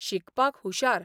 शिकपाक हुशार.